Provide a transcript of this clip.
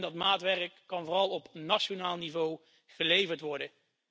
En dat maatwerk kan vooral op nationaal niveau geleverd worden.